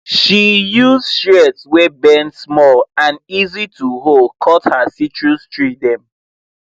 she use shears wey bend small and easy to hold cut her citrus tree dem